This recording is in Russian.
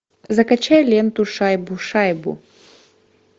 закачай ленту шайбу шайбу